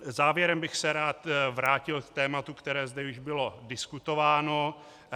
Závěrem bych se rád vrátil k tématu, které zde již bylo diskutováno.